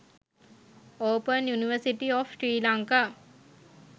open university of sri lanka